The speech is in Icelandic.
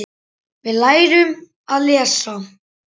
Við lærum að lesa.